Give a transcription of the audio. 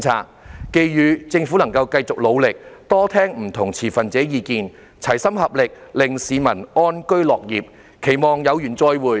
我寄語政府能夠繼續努力，多聆聽不同持份者的意見，齊心合力，令市民安居樂業，期望有緣再會。